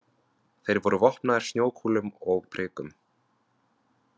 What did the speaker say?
Þeir voru vopnaðir snjókúlum og prikum.